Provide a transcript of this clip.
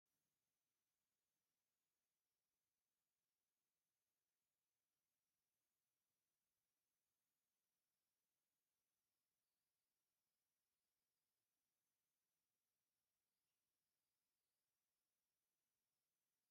ኣብ ሜዳ ቦታ ማይ ኮዓቲት ማሽን ጉድጓድ እንትትኩዕት ትርአ ኣላ፡፡ ውፅኢት ማይ እውን ኣርእያ ኣላ፡፡ ማይ ብማሽን ምኹዓት ንምንታይ የድሊ?